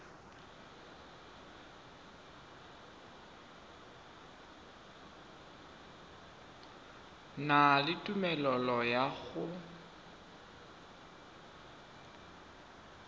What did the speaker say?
na le tumelelo ya go